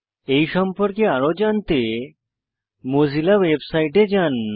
এই সম্পর্কে আরো জানতে মোজিলা ওয়েবসাইটে যান